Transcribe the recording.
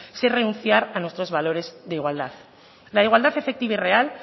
sin renunciar a nuestros valores de igualdad la igualdad efectiva y real